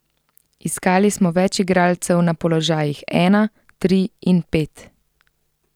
Iskali smo več igralcev na položajih ena, tri in pet.